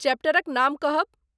चैप्टरक नाम कहब ?